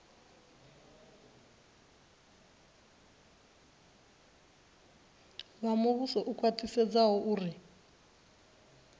vha muvhuso u khwaṱhisedza uri